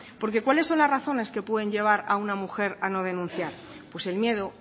porque cuáles son las razones que pueden llevar a una mujer a no denunciar pues el miedo